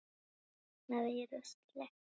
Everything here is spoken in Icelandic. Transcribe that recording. Kviknað í rusli?